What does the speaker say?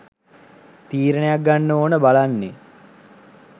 තීරණයක් ගන්න ඕන බලන්නේ